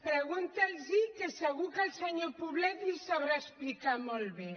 pre·gunti’ls·ho que segur que el senyor poblet li ho sabrà explicar molt bé